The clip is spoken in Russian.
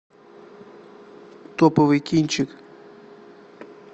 топовый кинчик